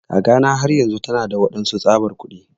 Kakana har yanzun tana da waɗansu tsabar kuɗi.